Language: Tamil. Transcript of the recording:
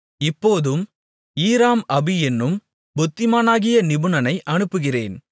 இப்போதும் ஈராம் அபி என்னும் புத்திமானாகிய நிபுணனை அனுப்புகிறேன்